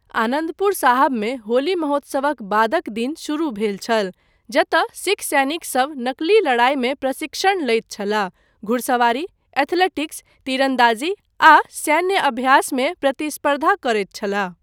आनन्दपुर साहबमे होली महोत्सवक बादक दिन शुरू भेल छल, जतय सिख सैनिकसभ नकली लड़ाईमे प्रशिक्षण लैत छलाह, घुड़सवारी, एथलेटिक्स, तीरन्दाजी आ सैन्य अभ्यास मे प्रतिस्पर्धा करैत छलाह।